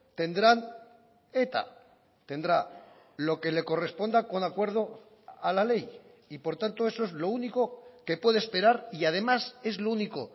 tendrán eta tendrá lo que le corresponda con acuerdo a la ley y por tanto eso es lo único que puede esperar y además es lo único